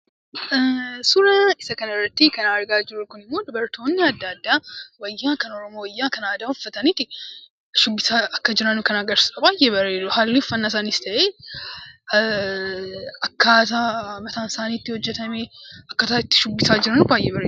Suuraa isa kana irratti kan argaa jirru ammoo dubartoonni adda addaa wayyaa kan aadaa Oromoo uffatanii shubbisaa akka jiran kan agarsiisudha. Haalli uffannaa isaanis ta'e akkaataan mataan isaanii itti hojjetame, akkaataan itti shubbisaa jiran baay'ee bareeda.